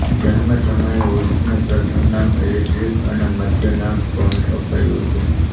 જન્મ સમયે વુડ્સને પ્રથમ નામ એલ્ડ્રિક અને મધ્ય નામ ટોન્ટ અપાયું હતું